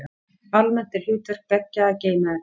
Almennt er hlutverk beggja að geyma efni.